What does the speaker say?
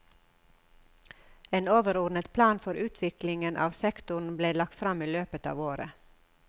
En overordnet plan for utviklingen av sektoren ble lagt fram i løpet av året.